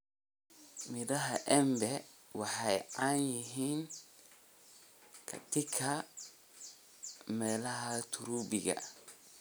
Midhaha embe waxay caan yihiin katika meelaha tropiki.